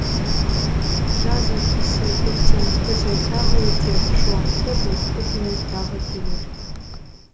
жазы қысы көктем күзі тағы өтер шуақты бұлтты күні тағы келер